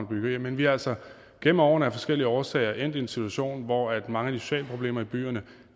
byggerier men vi er altså igennem årene af forskellige årsager endt i en situation hvor mange af de sociale problemer i byerne